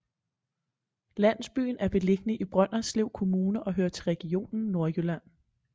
Landsbyen er beliggende i brønderslev kommune og hører til region nordjylland